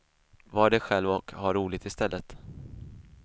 Var dig själv och ha roligt istället.